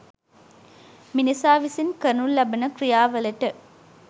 මිනිසා විසින් කරනු ලබන ක්‍රියාවලට